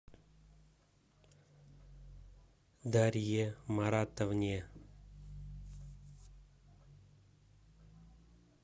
дарье маратовне